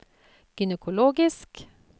gynekologisk